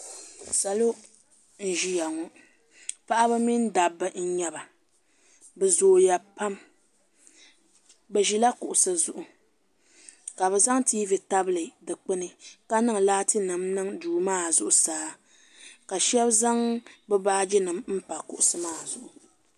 salo n-ʒiya ŋɔ paɣiba mini dabba n-nyɛ ba bɛ zooya pam bɛ ʒila kuɣisi zuɣu ka bɛ zaŋ tiivi tabili dikpuni ka niŋ laatinima niŋ duu maa zuɣusaa ka shɛba zaŋ bɛ baajinima m-pa kuɣisi maa zuɣu